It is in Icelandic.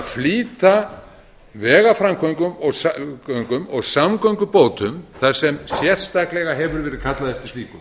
flýta vegaframkvæmdum og samgöngubótum þar sem sérstaklega hefur verið kallað eftir slíku